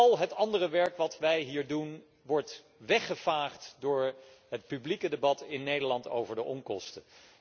Al het andere werk dat wij hier doen, wordt weggevaagd door het publieke debat in Nederland over de onkosten.